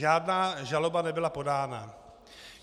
Žádná žaloba nebyla podána.